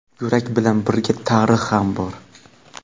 yurak bilan birga tarix ham bor.